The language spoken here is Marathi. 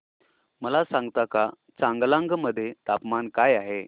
मला सांगता का चांगलांग मध्ये तापमान काय आहे